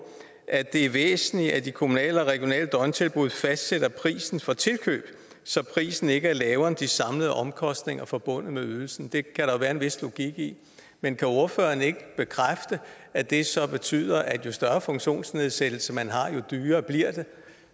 at det er væsentligt at de kommunale og regionale døgntilbud fastsætter prisen for tilkøb så prisen ikke er lavere end de samlede omkostninger forbundet med ydelsen det kan der jo være en vis logik i men kan ordføreren ikke bekræfte at det så betyder at jo større funktionsnedsættelse man har jo dyrere bliver det